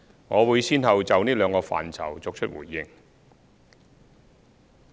我會先後就這兩個範疇作出回應。